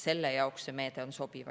Selle jaoks on see meede sobiv.